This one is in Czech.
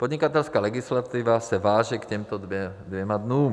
Podnikatelská legislativa se váže k těmto dvěma dnům.